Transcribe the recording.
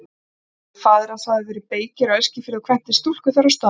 Faðir hans hafði verið beykir á Eskifirði og kvæntist stúlku þar á staðnum.